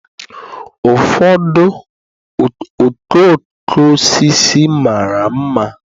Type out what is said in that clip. Ụfọdụ okooko osisi mara mma